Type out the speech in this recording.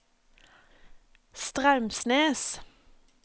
Straumsnes